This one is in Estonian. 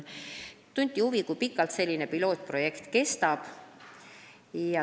Küsiti, kui pikalt pilootprojekt kestab.